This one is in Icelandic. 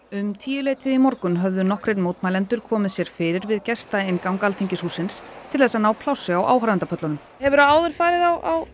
um tíuleytið í morgun höfðu nokkrir mótmælendur komið sér fyrir við Alþingishússins til að ná plássi á áhorfendapöllunum hefurðu áður farið á